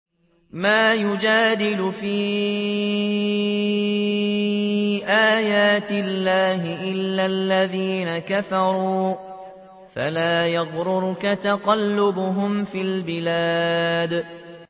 مَا يُجَادِلُ فِي آيَاتِ اللَّهِ إِلَّا الَّذِينَ كَفَرُوا فَلَا يَغْرُرْكَ تَقَلُّبُهُمْ فِي الْبِلَادِ